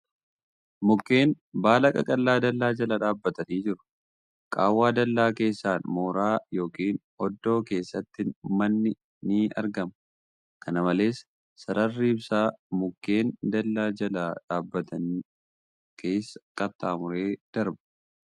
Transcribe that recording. Mukkeen baala qaqallaa dallaa jala dhaabbatanii jiran . Qaawwa dallaa keessaan mooraa ykn oddoo keessatti manni ni argama . Kana malees, Sararri ibsaa mukkeen dallaa jala dhaabbatan keessa qaxxaamuree darba .